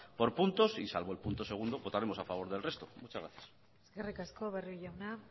por puntos y salvo el punto segundo votaremos a favor del resto muchas gracias eskerrik asko barrio jauna